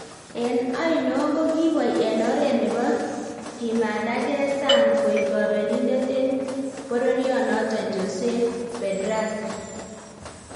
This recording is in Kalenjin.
En oino kogiboi en oret nebo kimandage sang, koik kobelindet en boryonoton Jose Pedraza